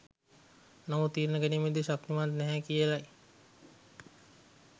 නමුත් තීරණ ගැනීමේදී ශක්තිමත් නැහැ කියලයි